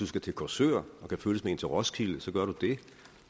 skal til korsør og kan følges med en til roskilde så gør du det